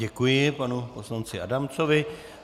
Děkuji panu poslanci Adamcovi.